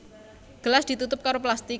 Gelas ditutup karo plastik